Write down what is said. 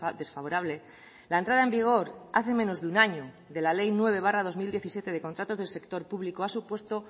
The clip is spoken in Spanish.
desfavorable la entrada en vigor hace menos de un año de la ley nueve barra dos mil diecisiete de contratos del sector público ha supuesto